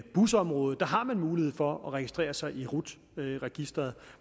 busområdet har mulighed for at registrere sig i rut registeret